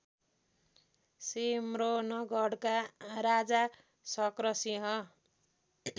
सिम्रौनगढका Raja Shakra Singh